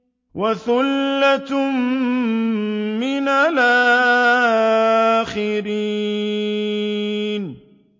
وَثُلَّةٌ مِّنَ الْآخِرِينَ